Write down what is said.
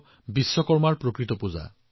আজি দক্ষতাৰ পৰা কিমানটা প্ৰগতিৰ পথ উদ্ভাৱিত হৈছে